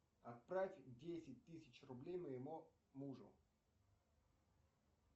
отправь десять тысяч рублей моему мужу